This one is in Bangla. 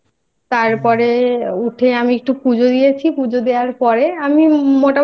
তারপরে উঠে আমি একটু পুজো দিয়েছি পুজো দেওয়ার পরে আমি